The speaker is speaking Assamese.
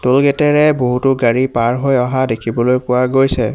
টোল গেটে ৰে বহুতো গাড়ী পাৰ হৈ অহা দেখিবলৈ পোৱা গৈছে।